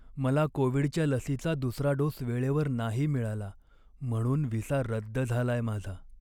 मला कोविडच्या लसीचा दुसरा डोस वेळेवर नाही मिळाला म्हणून व्हिसा रद्द झालाय माझा.